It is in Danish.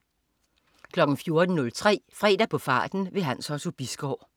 14.03 Fredag på farten. Hans Otto Bisgaard